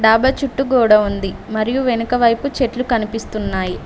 అబ్బ చుట్టు గోడ ఉంది మరియు వెనుక వైపు చెట్లు కనిపిస్తున్నాయి.